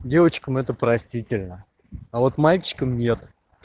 девочкам это простительно а вот мальчикам нет